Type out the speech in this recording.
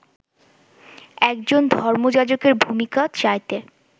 একজন ধর্মযাজকের ভুমিকার চাইতে